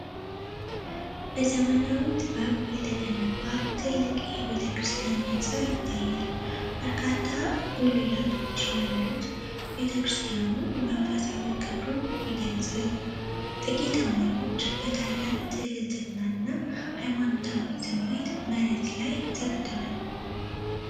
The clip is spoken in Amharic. በዘመናዊ ጥበብ የተገነባ ትልቅ የቤተክርስቲያን ህንፃ ይታያል። በርካታ ጉልላቶች ያሉት ቤተክርስቲያኑ መንፈሳዊ ክብሩን ይገልፃል። ጥቂት አማኞች በታላቅ ትህትናና ሃይማኖታዊ ስሜት መሬት ላይ ሰግደዋል።